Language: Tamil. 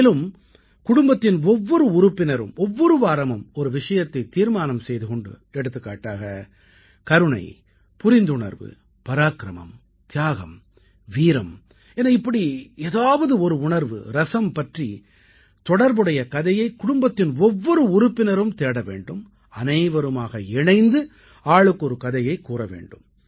மேலும் குடும்பத்தின் ஒவ்வொரு உறுப்பினரும் ஒவ்வொரு வாரமும் ஒரு விஷயத்தைத் தீர்மானம் செய்து கொண்டு எடுத்துக்காட்டாக கருணை புரிந்துணர்வு பராக்கிரமம் தியாகம் வீரம் என இப்படி ஏதாவது ஒரு உணர்வு ரசம் பற்றித் தொடர்புடைய கதையை குடும்பத்தின் ஒவ்வொரு உறுப்பினரும் தேட வேண்டும் அனைவருமாக இணைந்து ஆளுக்கொரு கதையைக் கூற வேண்டும்